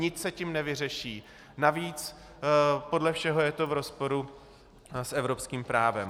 Nic se tím nevyřeší, navíc podle všeho je to v rozporu s evropským právem.